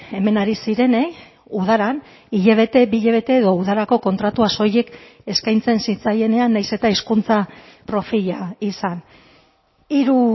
hemen ari zirenei udaran hilabete bi hilabete edo udarako kontratua soilik eskaintzen zitzaienean nahiz eta hizkuntza profila izan hiru